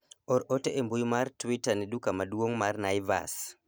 or ote e mbui mwr twita ne duka maduong' mar Naivas